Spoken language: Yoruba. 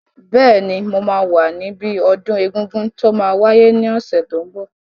Bẹ́ẹ̀ni, mo máa wà níbi ọdún egungun tó máa wáyé ní ọ̀sẹ̀ tó n bọ̀